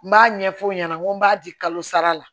N b'a ɲɛfɔ u ɲɛna n ko b'a di kalo sara la